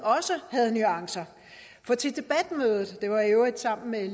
også havde nuancer for til debatmødet det var i øvrigt sammen med